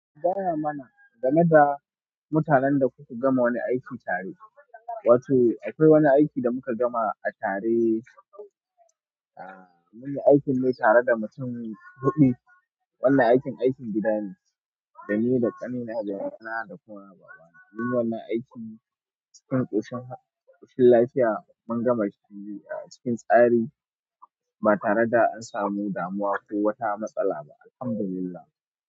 Gaya mana game da mutanen da kuka gama wani aiki tare. Wato, akwai wani aiki da muka gama a tare, ahhh, munyi aikin mai tare da mutum huɗu. Wannan aikin, aikin gida ne, da ni da ƙanina da ƙanina da ƙawana. Munyi wannan aikin cikin ƙoshin, ƙoshin lafiya. Mun gama cikin, a'a cikin tsari ba tare da an samu damuwa ko wata matsala ba. Alhamdulillah.